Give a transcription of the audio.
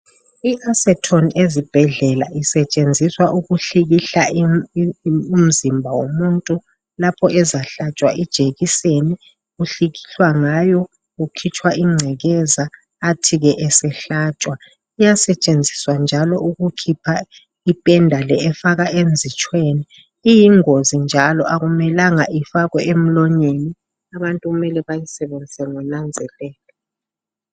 IAceton ezibhedlela isetshenziswa ukuhlikihla imi.., umzimba womuntu, lapho ezahlatshwa ijekiseni. Uhlikihlwa ngayo. Kukhitshwa ingcekeza. Athi ke, esehlatshwa. Iyasetshenziswa njalo, ukukhipha ipenda le, efaka enzitshweni. Iyingozi njalo, akumelanga ifakwe emlonyeni. Abantu, kumele bayisebenzise ngonanzelelo.